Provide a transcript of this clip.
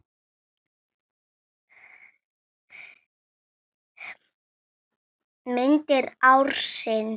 Myndir ársins